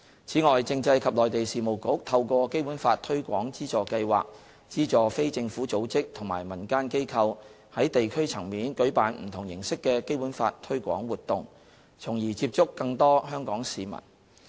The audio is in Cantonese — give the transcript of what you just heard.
此外，政制及內地事務局透過"《基本法》推廣資助計劃"資助非政府組織及民間機構，在地區層面舉辦不同形式的《基本法》推廣活動，從而接觸更多香港市民。